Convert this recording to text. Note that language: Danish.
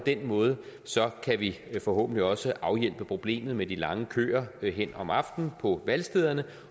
den måde kan vi forhåbentlig også afhjælpe problemet med de lange køer om aftenen på valgstederne